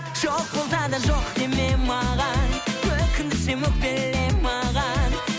жоқ болса да жоқ деме маған өкіндірсем өкпеле маған